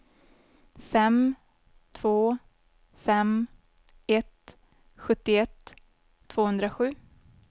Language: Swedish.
fem två fem ett sjuttioett tvåhundrasju